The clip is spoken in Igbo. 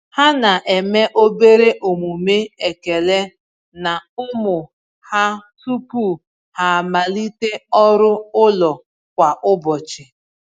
Ha na-eme obere omume ekele na ụmụ ha tupu ha amalite ọrụ ụlọ kwa ụbọchị.